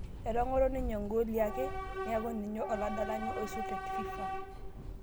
Etang'oro ninye ggoli are niaku ninye oladalani oisul te fifa